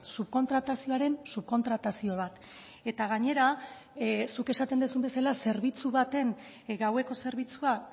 subkontratazioaren subkontratazio bat eta gainera zuk esaten duzun bezala zerbitzu baten gaueko zerbitzua